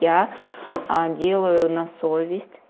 я делаю на совесть